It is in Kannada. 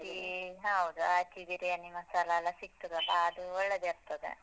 ಈ ಹೌದು Aachi biryani ಮಸಾಲಾ ಎಲ್ಲ ಸಿಗ್ತದಲ್ಲ ಅದು ಒಳ್ಳೆದಿರ್ತದೇ.